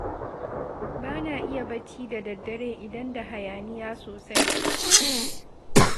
Ba na iya barci da daddare idan da hayaniya sosai